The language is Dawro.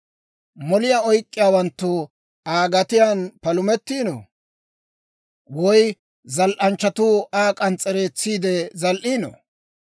Moliyaa oyk'k'iyaawanttu Aa gatiyaan palumettiino? Woy zal"anchchatuu Aa k'ans's'ereetsiide zal"iino?